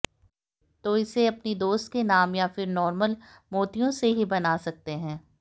तो इसे अपनी दोस्त के नाम या फिर नॉर्मल मोतियों से ही बना सकते है